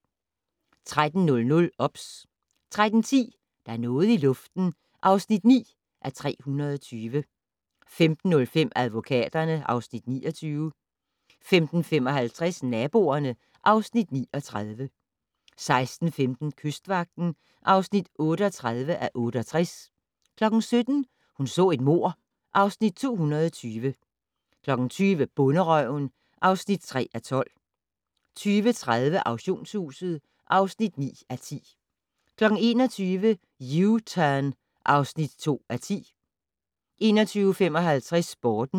13:00: OBS 13:10: Der er noget i luften (9:320) 15:05: Advokaterne (Afs. 29) 15:55: Naboerne (Afs. 39) 16:15: Kystvagten (38:68) 17:00: Hun så et mord (Afs. 220) 20:00: Bonderøven (3:12) 20:30: Auktionshuset (9:10) 21:00: U-Turn (2:10) 21:55: Sporten